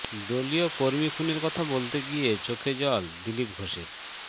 দলীয় কর্মী খুনের কথা বলতে গিয়ে চোখে জল দিলীপ ঘোষের